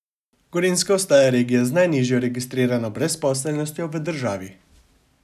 Gorenjska ostaja regija z najnižjo registrirano brezposelnostjo v državi.